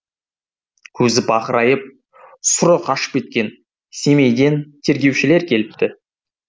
көзі бақырайып сұры қашып кеткен семейден тергеушілер келіпті